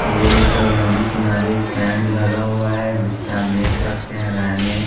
ये एक नदी किनारे कैंप लगा हुआ है जिसे आप देख सकते है रहने --